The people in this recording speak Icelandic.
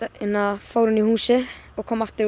fór inn í húsið og kom aftur